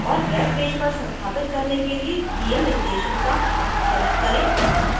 और web page पर संस्थापित करने के लिए दिए निर्देशों का अनुसरण करें